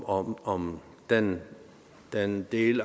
om om den den del